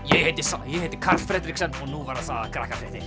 ég heiti sæ ég heiti Karl Fredriksen og nú verða sagðar